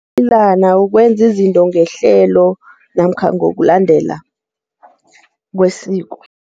Umnayilana kukwenza izinto ngehlelo namkha ngokulandela kwesiko.